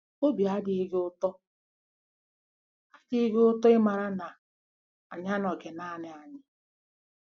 Obi adịghị gị ụtọ adịghị gị ụtọ ịmara na anyị anọghị naanị anyị? -